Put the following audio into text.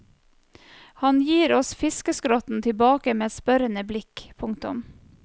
Han gir oss fiskeskrotten tilbake med et spørrende blikk. punktum